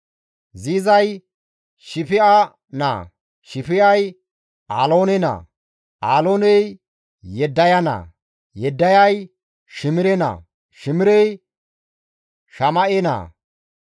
Ziizay Shif7a naa, Shif7ay Aloone naa, Alooney Yeddaya naa, Yeddayay Shimire naa, Shimirey Shama7e naa.